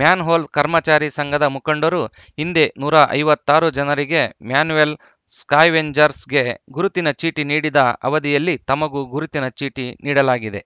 manhole ಕರ್ಮಚಾರಿ ಸಂಘದ ಮುಖಂಡರು ಹಿಂದೆ ನೂರ ಐವತ್ತ್ ಆರು ಜನರಿಗೆ ಮ್ಯಾನುವೆಲ್‌ ಸ್ಕಾ್ಯವೆಂಜರ್‍ಸ್ಗೆ ಗುರುತಿನ ಚೀಟಿ ನೀಡಿದ ಅವದಿಯಲ್ಲಿ ತಮಗೂ ಗುರುತಿನ ಚೀಟಿ ನೀಡಲಾಗಿದೆ